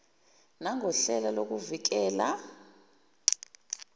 nangohlelo lokuvi kela